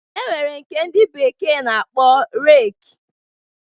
E nwere nke ndị bekee na-akpọ reki.